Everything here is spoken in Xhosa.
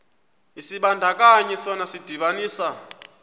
isibandakanyi sona sidibanisa